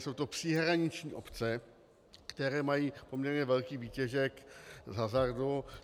Jsou to příhraniční obce, které mají poměrně velký výtěžek z hazardu.